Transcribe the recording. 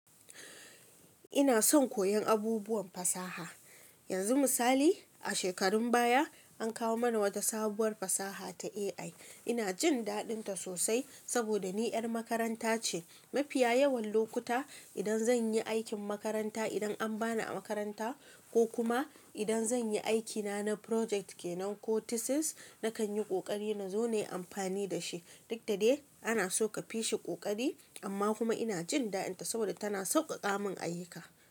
Ina son koyon abubuwan fasaha. Yanzu misali, a shekarun baya an kawo mana wata sabuwar fasaha ta AI. Inajin daɗinta sosal saboda ni 'yar makaranta ce mafiya yawan lokuta idan zanyi aikin makaranta, idan an bani a makaranta, kokuma idan zanyi aiki na na project kenan ko thesis nakanyi ƙoƙari nazo nayi amfani da shi. Duk da dai ana so ka fishi ƙoƙari amma kuma ina jin daɗinta saboda tana sauƙaƙa mun ayyuka.